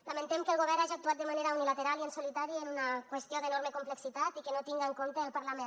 lamentem que el govern hagi actuat de manera unilateral i en solitari en una qüestió d’enorme complexitat i que no tingui en compte el parlament